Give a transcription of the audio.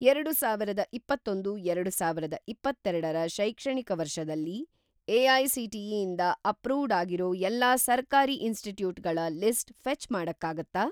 ಎರಡುಸಾವಿರದ ಇಪ್ಪತ್ತೊಂದು - ಎರಡುಸಾವಿರದ ಇಪ್ಪತ್ತೆರಡ ರ ಶೈಕ್ಷಣಿಕ ವರ್ಷದಲ್ಲಿ, ಎ.ಐ.ಸಿ.ಟಿ.ಇ. ಇಂದ ಅಪ್ರೂವ್ಡ್‌ ಆಗಿರೋ ಎಲ್ಲಾ ಸರ್ಕಾರಿ ಇನ್‌ಸ್ಟಿಟ್ಯೂಟ್‌ಗಳ ಲಿಸ್ಟ್ ಫೆ಼ಚ್‌ ಮಾಡಕ್ಕಾಗತ್ತಾ?